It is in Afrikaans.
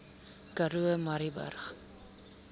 karoo murrayburg